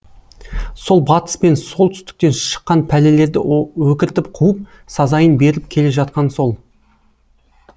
сол батыс пен солтүстіктен шыққан пәлелерді өкіртіп қуып сазайын беріп келе жатқан сол